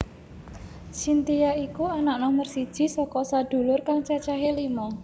Cynthia iku anak nomer siji saka sedulur kang cacahé lima